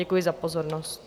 Děkuji za pozornost.